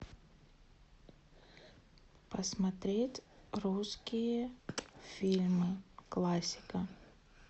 посмотреть русские фильмы классика